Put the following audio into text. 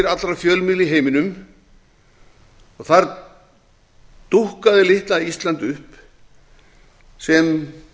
allra fjölmiðla í heiminum og þar dúkkaði litla ísland upp sem